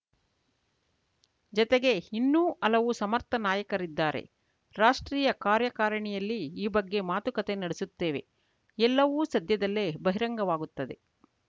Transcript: ಜತೆಗೆ ಇನ್ನೂ ಹಲವು ಸಮರ್ಥ ನಾಯಕರಿದ್ದಾರೆ ರಾಷ್ಟ್ರೀಯ ಕಾರ್ಯಕಾರಿಣಿಯಲ್ಲಿ ಈ ಬಗ್ಗೆ ಮಾತುಕತೆ ನಡೆಸುತ್ತೇವೆ ಎಲ್ಲವೂ ಸದ್ಯದಲ್ಲೇ ಬಹಿರಂಗವಾಗುತ್ತದೆ